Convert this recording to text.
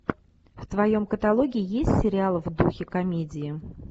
в твоем каталоге есть сериал в духе комедии